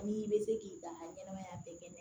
N'i bɛ se k'i dan ɲɛnɛmaya bɛɛ kɛnɛ